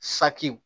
Sakiw